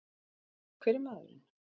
En hver er maðurinn?